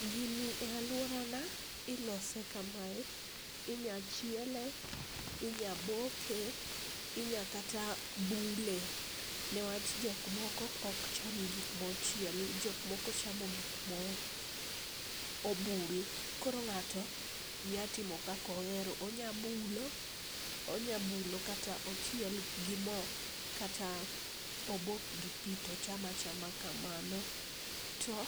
Gini e aluorana ilose kamae, inyalo chiele, inyalo boke, inyalo kata bule niwach jok moko ok cham gik mochiel, jok moko chamo gik ma obul. Koro ng'ato nyalo timo kaka ohero, onyalo bulo, kata ochiel gi mo kata obok gi pi to ocham achama kamano, to